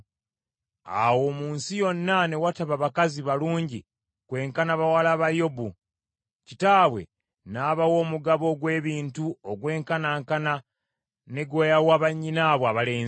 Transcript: Awo mu nsi yonna ne wataba bakazi balungi kwenkana bawala ba Yobu. Kitaabwe n’abawa omugabo ogw’ebintu ogwenkanankana ne gwe yawa bannyinaabwe abalenzi.